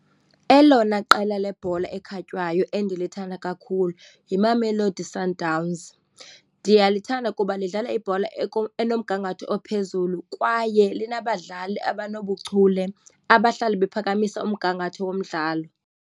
Elona qela lebhola ekhatywayo endilithanda kakhulu yiMamelodi Sundowns. Ndiyalithanda kuba lidlala ibhola enomgangatho ophezulu kwaye linabadlali abanobuchule abahlala baphakamise umgangatho womdlalo.